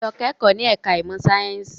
Lọ kẹ́kọ̀ọ́ ní ẹ̀ka ìmọ̀ sáyẹ́ǹsì!